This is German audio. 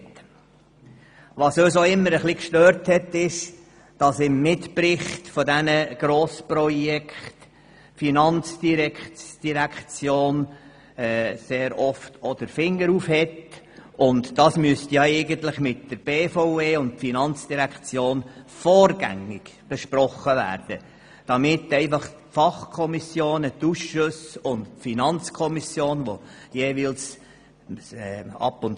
Uns hat es immer etwas gestört, dass die FIN in den Mitberichten zu diesen Grossprojekten sehr oft den Mahnfinger erhoben hat, obwohl sich die FIN und die BVE eigentlich vorgängig hätten absprechen sollen.